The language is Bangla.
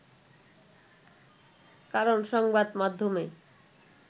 কারণ সংবাদ মাধ্যমে